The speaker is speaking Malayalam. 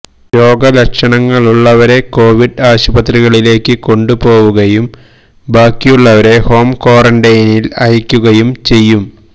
രോഗലക്ഷണങ്ങളുള്ളവരെ കോവിഡ് ആശുപത്രികളിലേക്ക് കൊണ്ടുപോകുകയും ബാക്കിയുള്ളവരെ ഹോം ക്വാറന്റൈനില് അയയ്ക്കുകയും ചെയ്യും